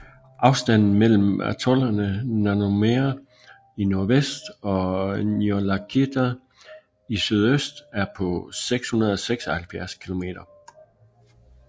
Afstanden mellem atollerne Nanumea i nordvest og Niulakita i sydøst er på 676 km